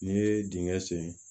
N'i ye dingɛ sen